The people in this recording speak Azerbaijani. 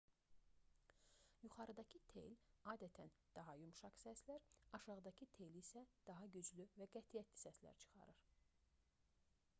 yuxarıdakı tel adətən daha yumşaq səslər aşağıdakı tel isə daha güclü və qətiyyətli səslər çıxarır